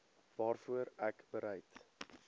waarvoor ek bereid